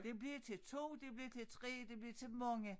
Det blev til 2 det blev til 3 det blev til mange